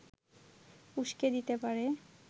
উস্কে দিতে পারে